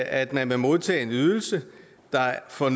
at man vil modtage en ydelse der for